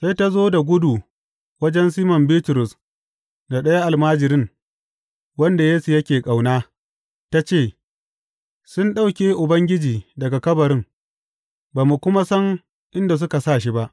Sai ta zo da gudu wajen Siman Bitrus da ɗayan almajirin, wanda Yesu yake ƙauna, ta ce, Sun ɗauke Ubangiji daga kabarin, ba mu kuma san inda suka sa shi ba!